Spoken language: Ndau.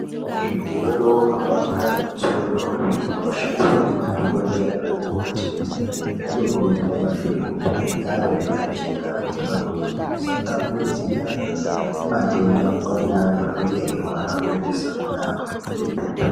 Zvigero, mapanga netsono zvinoshandiswa ngemadhogodheya naana mukoti zvinokurudzirwa maningi kuti zvigare zvakachena. Kuitira kuti zvisatapudzira matenda kubva kune antu anenge eirwara kuendesa kune amweni.